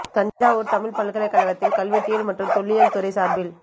தஞ்சாவூர் தமிழ்ப் பல்கலைக் கழகத்தில் கல்வெட்டியல் மற்றும் தொல்லியல் துறை சார்பில்